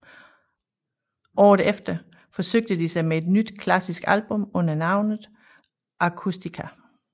Året efter forsøgte de sig med et nyt klassisk album under navnet Acoustica